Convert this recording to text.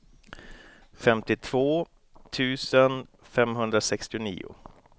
femtiotvå tusen femhundrasextionio